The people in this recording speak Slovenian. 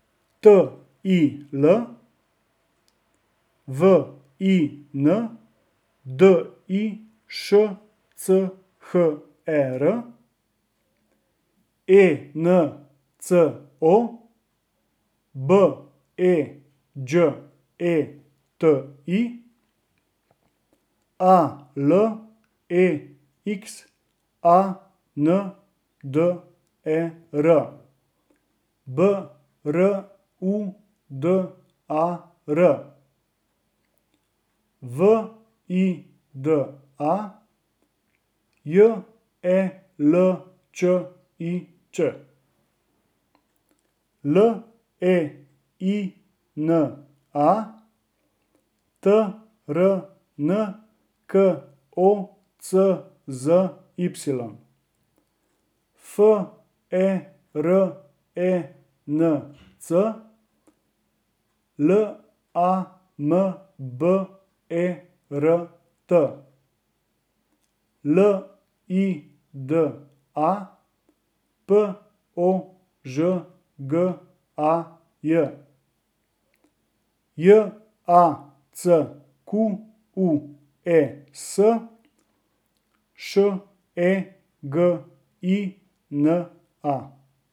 T I L, W I N D I S C H E R; E N C O, B E Đ E T I; A L E X A N D E R, B R U D A R; V I D A, J E L Č I Ć; L E I N A, T R N K O C Z Y; F E R E N C, L A M B E R T; L I D A, P O Ž G A J; J A C Q U E S, Š E G I N A.